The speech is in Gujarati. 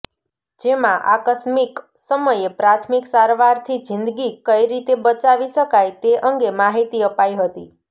જેમાં આકસ્મીક સમયે પ્રાથમિક સારવારથી જીંદગી કઇ રીતે બચાવી શકાય તે અંગે માહીતી અપાઇ હતી